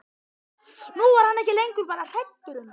Nú var hann ekki lengur bara hræddur um